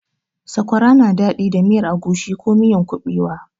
Sakwara na daɗi da miyar agushi ko miyan kuɓewa.